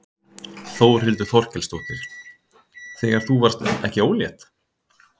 Þórhildur Þorkelsdóttir: Þegar þú varðst ekki ólétt?